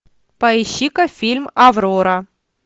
поищи ка фильм аврора